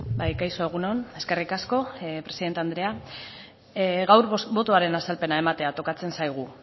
bai kaixo egun on eskerrik asko presidente andrea gaur botoaren azalpena ematea tokatzen zaigu